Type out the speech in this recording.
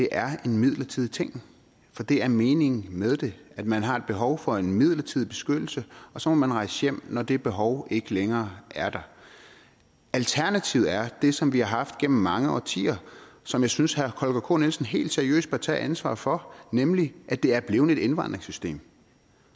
er en midlertidig ting for det er meningen med det at man har et behov for en midlertidig beskyttelse og så må man rejse hjem når det behov ikke længere er der alternativet er det som vi har haft gennem mange årtier og som jeg synes herre holger k nielsen helt seriøst bør tage ansvar for nemlig at det er blevet et indvandringssystem